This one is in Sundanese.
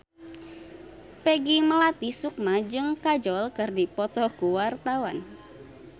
Peggy Melati Sukma jeung Kajol keur dipoto ku wartawan